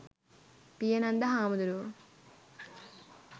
පියනන්ද හාමුදුරුවෝ